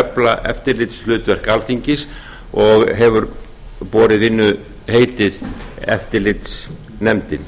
efla eftirlitshlutverk alþingis og hefur borið vinnuheitið eftirlitsnefndin